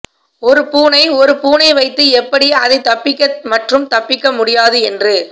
ஒரு பூனை ஒரு பூனை வைத்து எப்படி அதை தப்பிக்க மற்றும் தப்பிக்க முடியாது என்று